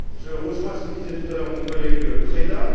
Je rejoins ce que disait tout à l'heure mon collègue Preda.